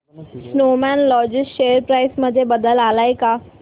Snowman logistics share price मध्ये बदल आलाय का